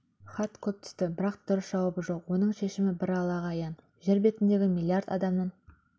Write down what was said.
хат көп түсті бірақ дұрыс жауабы жоқ оның шешімі бір аллаға аян жер бетіндегі миллиард адамның